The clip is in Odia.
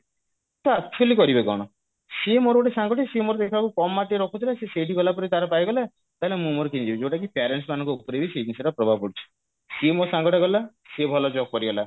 ତ actually କରିବେ କଣ ସିଏ ମୋର ଗୋଟେ ସାଙ୍ଗଟେ ସିଏ ମୋର ଦେଖିଲାବେଳକୁ କମ mark ଟିକେ ରଖୁଥିଲା ସିଏ ବି ଗଲାପରେ ତାର ପାଇଗଲା ତାହେଲେ ମୁଁ ମୋର ଯଉଟା କି parents ମାନଙ୍କ ଉପରେ ବି ସେଇ ଜିନିଷ ଟା ପ୍ରଭାବ ପଡୁଛି ସିଏ ମୋ ସାଙ୍ଗ ଟା ଗଲା ସିଏ ଭଲ job କରିଗଲା